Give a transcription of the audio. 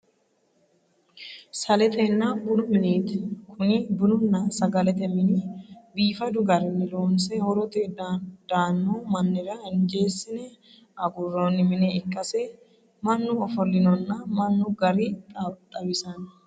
Saletenna bunu mineeti. Konni bununna sagalete mine biifadu garinni loonse horote daanno mannira injeesine aguroonni mine ikkase mannu ofollinonna minu gari xawisanno.